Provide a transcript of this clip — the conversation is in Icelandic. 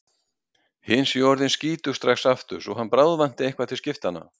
Hin séu orðin skítug strax aftur svo hann bráðvanti eitthvað til skiptanna.